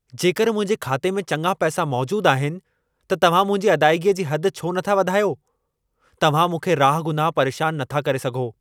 जेकर मुंहिंजे खाते में चङा पैसा मौजूद आहिनि, त तव्हां मुंहिंजी अदाइगीअ जी हद छो नथा वधायो? तव्हां मूंखे राहगुनाह परेशान न था करे सघो।